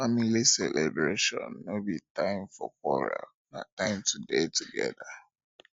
family celebrations no be time for quarrel na time to dey together